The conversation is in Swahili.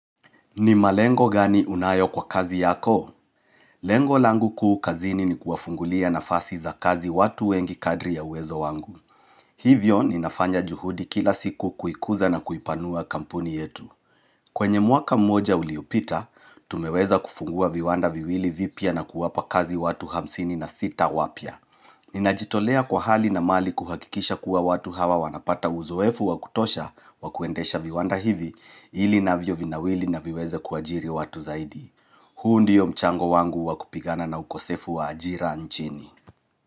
Ni malengo gani unayo kwa kazi yako? Lengo langu kuu kazini ni kuwafungulia nafasi za kazi watu wengi kadri ya uwezo wangu. Hivyo ninafanya juhudi kila siku kuikuza na kuipanua kampuni yetu. Kwenye mwaka mmoja uliopita, tumeweza kufungua viwanda viwili vipya na kuwapa kazi watu hamsini na sita wapya. Ninajitolea kwa hali na mali kuhakikisha kuwa watu hawa wanapata uzoefu wakutosha wakuendesha viwanda hivi ili na vio vinawili na viweze kuajiri watu zaidi. Huu ndiyo mchango wangu wakupigana na ukosefu wa ajira anchini.